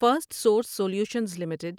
first Source Solutions limited